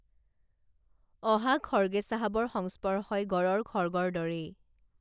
অহা খৰ্গে চাহাবৰ স্পৰ্শই গঁড়ৰ খৰ্গৰ দৰেই